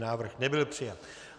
Návrh nebyl přijat.